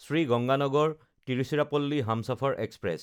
Shri Ganganagar Tiruchirappalli Humsafar express